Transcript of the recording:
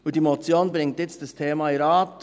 Die Motion bringt jetzt dieses Thema in den Rat.